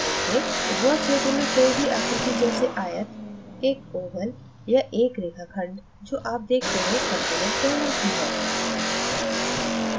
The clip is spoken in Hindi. draw क्षेत्र में कोई भी आकृति जैसेआयत एक oval या एक रेखाखंड जो आप देखते हैं component कहलाती हैं